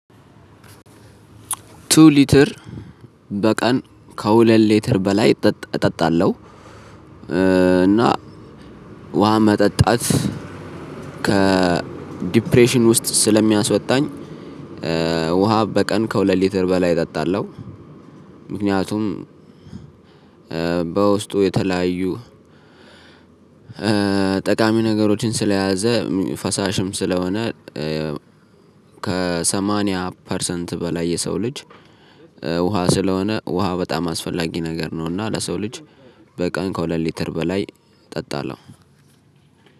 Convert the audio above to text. ቱ ሊትር በቀን ከሁለት ሊትር በላይ እጠጣለሁ እና ውሃ መጠጣት ከዲፕሬሽን ውስጥ ስለሚያስወጣኝ ውሃ በቀን ከሁለት ሊትር በላይ እጠጣለሁ። ምክንያቱም በውስጡ የተለያዩ ጠቃሚ ነገሮችን ስለያዘ ፈሳሽም ስለሆነ ከሰማንያ ፐርሰንት በላይ የሰው ልጅ ውሃ ስለሆነ ውሃ በጣም አስፈላጊ ነገር ነው እና ለሰው ልጅ በቀን ከሁለት ሊትር በላይ እጠጣለሁ።